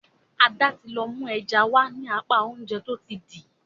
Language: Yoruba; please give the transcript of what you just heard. Ada tí lọ mú ẹja wá ní apá Oúnjẹ tó ti dì.